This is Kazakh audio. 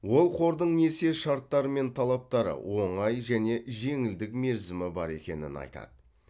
ол қордың несие шарттары мен талаптары оңай және жеңілдік мерзімі бар екенін айтады